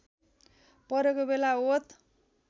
परेको बेला ओत